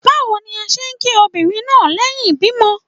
Bawo ni a ṣe ki obinrin naa lẹhin ibimọ